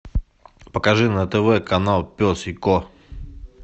покажи на тв канал пес и ко